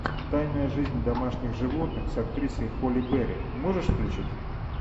тайная жизнь домашних животных с актрисой холли берри можешь включить